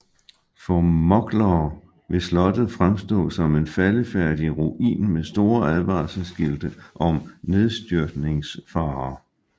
For mugglere vil slottet fremstår som en faldefærdig ruin med store advarselsskilte om nedstyrtningsfare